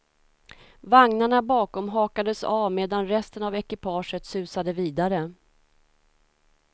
Vagnarna bakom hakades av medan resten av ekipaget susade vidare.